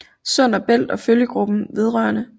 Sund og Bælt og Følgegruppen vedr